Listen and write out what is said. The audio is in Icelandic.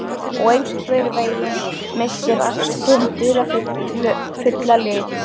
Og einhvern veginn missir allt sinn dularfulla lit.